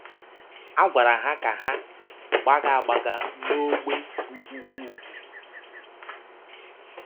A gwara ha ka ha “ gbaga gbaga n’ọ́gbè bụ́ ụgwụ ụgwụ. ”